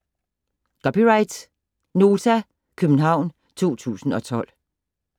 (c) Nota, København 2012